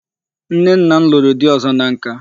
Nne nna m lụrụ di ọzọ na nka.